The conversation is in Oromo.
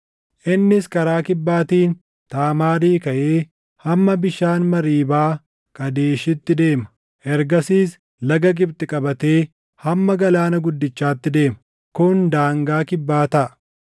Innis karaa kibbaatiin Taamaarii kaʼee hamma bishaan Mariibaa Qaadeshiitti deema; ergasiis laga Gibxi qabatee hamma Galaana Guddichaatti deema. Kun daangaa kibbaa taʼa.